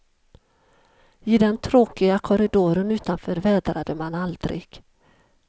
I den tråkiga korridoren utanför vädrade man aldrig.